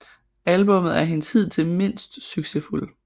Albummet er hendes hidtil mindst succesfulde